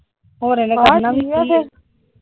ਹੋਰ ਇਹਨੇ ਕਰਨਾ ਵੀ ਕਿ ਆ ।